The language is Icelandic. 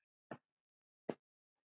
Amma Lóa mín.